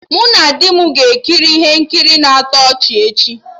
Mụ na di m ga-ekiri ihe nkiri na-atọ ọchị echi